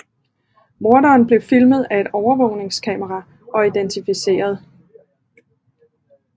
Morderen blev filmet af et overvågningskamera og identificeret